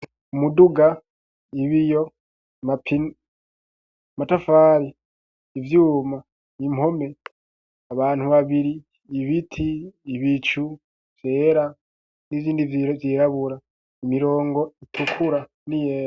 Umuduga ,ibiyo, Mapine, matafari ,ivyuma ,impome ,abantu ,babiri ,ibiti ,ibicu vyera ,n'izindi zirabura, Imirongo itukura ,niyera